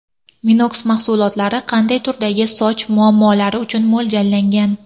Minox mahsulotlari qanday turdagi soch muammolari uchun mo‘ljallangan?